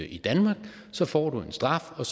i danmark så får du en straf og